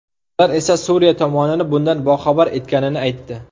Ular esa Suriya tomonini bundan boxabar etganini aytdi.